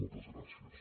moltes gràcies